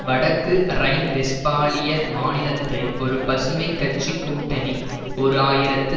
வடக்கு ரைன்வெஸ்பாலிய மாநித்தை ஒரு பசுமை கட்சி கூட்டணி ஓரு ஆயிரத்தி